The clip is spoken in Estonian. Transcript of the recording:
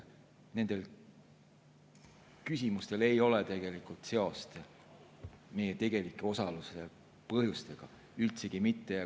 Nendel küsimustel ei ole seost meie osaluse tegelike põhjustega, üldsegi mitte.